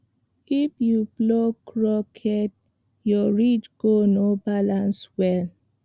if you plow crooked your ridge go no balance well